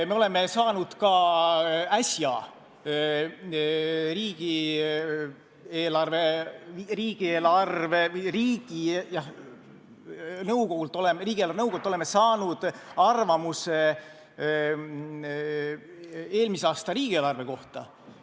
Me oleme saanud ka äsja riigi eelarvenõukogult arvamuse eelmise aasta riigieelarve kohta.